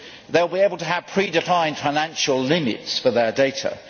They will be able to have predefined financial limits for their data.